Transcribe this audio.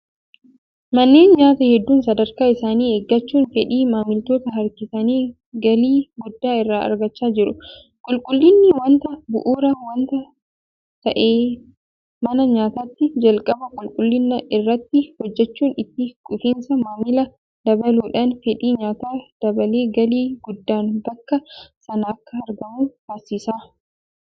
Manneen nyaataa hedduun sadarkaa isaanii eeggachuun fedhii maamilootaa harkisanii galii gudda irraa argachaa jiru. Qulqullinni waanta bu'uuraa waanta ta'eef mana nyaataatti jalqaba qulqullina irratti hojjechuun itti quufinsa maamilaa dabaluudhaan fedhii nyaataa dabalee galii guddaan bakka sanaa akka argamu taasisa.